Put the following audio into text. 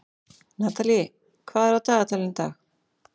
Natalie, hvað er á dagatalinu í dag?